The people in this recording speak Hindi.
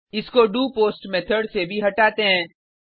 इसको डोपोस्ट मेथड से भी हटाते हैं